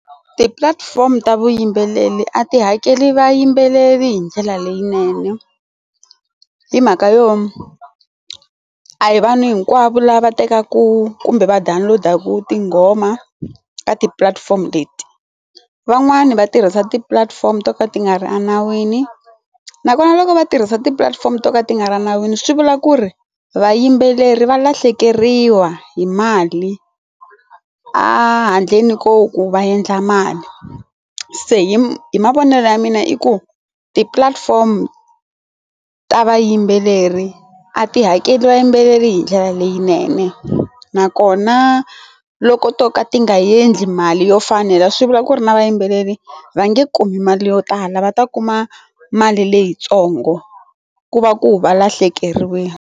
Ti platform ta vuyimbeleri a ti hakeli vayimbeleri hi ndlela leyinene hi mhaka yona a hi vanhu hinkwavo lava tekaka kumbe va download-aku tinghoma ka ti platform leti van'wani va tirhisa tipulatifomo to ka ti nga ri enawini nakona loko va tirhisa tipulatifomo to ka ti nga ri nawini swi vula ku ri vayimbeleri va lahlekeriwa hi mali a handleni koho ku va endla mali se hi hi mavonelo ya mina i ku ti platform ta vayimbeleri a ti hakeli vayimbeleri hi ndlela leyinene nakona loko to ka ti nga endli mali yo fanela swi vula ku ri na vayimbeleri va nge kumi mali yo tala va ta kuma mali leyitsongo ku va ku valahlekeriwile.